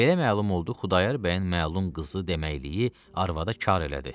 Belə məlum oldu Xudayar bəyin məlum qızı deməkliyi arvada kar elədi.